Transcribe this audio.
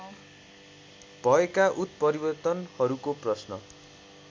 भएका उत्परिवर्तनहरूको प्रश्न